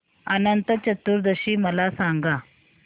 अनंत चतुर्दशी मला सांगा